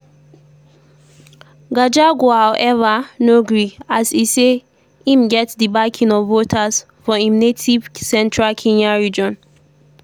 gachagua however no gree as e say im get di backing of voters for im native central kenya region.